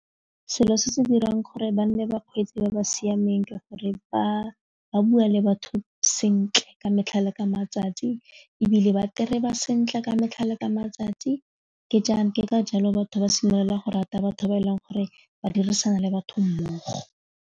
Selo se se dirang gore ba nne bakgweetsi ba ba siameng ke gore ba bua le batho sentle ka metlhale ka matsatsi ebile ba ba sentle ka metlhale ka matsatsi ke jang ke ka jalo batho ba simolola go rata batho ba e leng gore ba dirisana le batho mmogo.